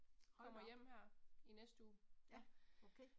Hold da op, ja, okay